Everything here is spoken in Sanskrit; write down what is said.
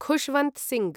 खुशवन्त् सिंह्